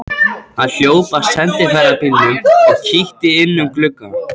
Hann hljóp að sendiferðabílnum og kíkti inn um glugga.